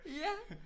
Ja